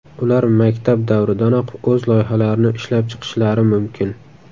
Ular maktab davridanoq o‘z loyihalarini ishlab chiqishlari mumkin.